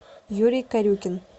юрий корюкин